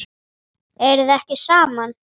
Eruð þið ekki saman?